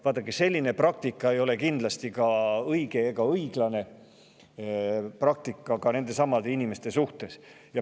Vaadake, selline praktika ei ole kindlasti õige ega õiglane nendesamade inimeste suhtes.